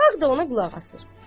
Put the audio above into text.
Xalq da ona qulaq asır.